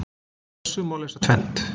Af þessu má lesa tvennt.